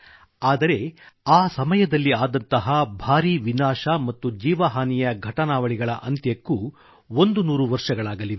ಅಂದರೆ ಆ ಸಮಯದಲ್ಲಿ ಆದಂತಹ ಭಾರೀ ವಿನಾಶ ಮತ್ತು ಜೀವಹಾನಿಯ ಅಂತ್ಯಕ್ಕೂ ಒಂದು ನೂರು ವರ್ಷಗಳಾಗಲಿವೆ